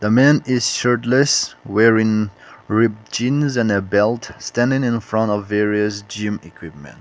man is shirtless wearing rib jeans and a belt standing in front of various gym equipment.